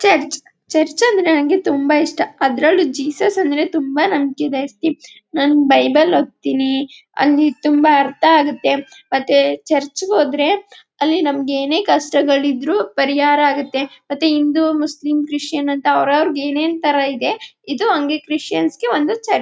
Church church ಅಂದ್ರೆ ನನಗೆ ತುಂಬ ಇಷ್ಟ ಅದ್ರಲ್ಲೂ ಜೀಸಸ್ ಅಂದ್ರೆ ತುಂಬ ನಂಬಿಕೆ ಜಾಸ್ತಿ. ನಾನು ಬೈಬಲ್ ಓತಿನಿ ಅಲ್ಲಿ ತುಂಬ ಅರ್ಥ ಆಗುತ್ತೆ. ಮತ್ತೆ ಚರ್ಚ್ಗೆ ಹೋದ್ರೆ ಅಲ್ಲಿ ನಮಗೆ ಏನೆ ಕಷ್ಟ ಇದ್ರೂ ಪರಿಹಾರ ಆಗುತ್ತೆ. ಮತ್ತು ಹಿಂದೂ ಮುಸ್ಲಿಂ ಕ್ರಿಶ್ಚಿಯನ್ ಅಂತ ಅವರವರಿಗೆ ಎಂಎನ್ ತರ ಇದೆ ಅಂಗೇ ಇದು ಕ್ರಿಶ್ಚಿಯಾನಿಗೆ ಒಂದು ಚರ್ಚ್ .